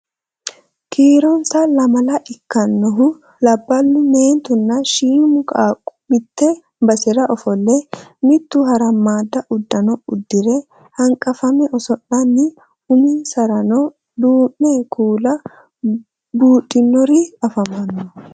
Kiironsa lamala ikkannohu labballu, meentunna shiima qaaqqo mitte basera ofolle mitu harammaadda uddano uddire hanqafame oso'lanni uminsarano duumo kuula buudhinori afamanno